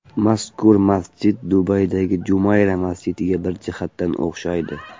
Mazkur masjid Dubaydagi Jumayra masjidiga bir jihatdan o‘xshaydi.